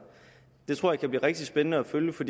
det tror jeg kan blive rigtig spændende at følge for